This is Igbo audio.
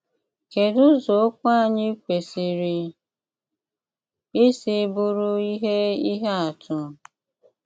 Kédú ụ̀zọ ókwù ányị́ kwesírè ísì bụrụ íhé íhé àtụ́?